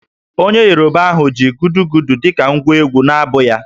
Onye Yoruba ahụ ji Gudugudu dị ka ngwa egwú n’abụ ya